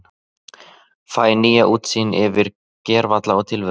Fæ nýja útsýn yfir gervalla tilveruna.